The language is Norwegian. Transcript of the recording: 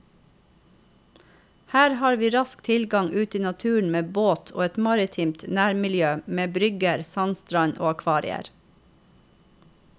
Her har vi rask tilgang ut i naturen med båt og et maritimt nærmiljø med brygger, sandstrand og akvarier.